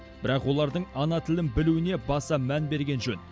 бірақ олардың ана тілін білуіне баса мән берген жөн